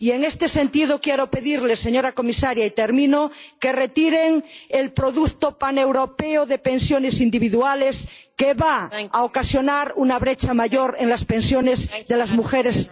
Y, en este sentido, quiero pedirle, señora comisaria —y termino—, que retiren el producto paneuropeo de pensiones individuales, que va a ocasionar una brecha mayor en las pensiones de las mujeres rurales.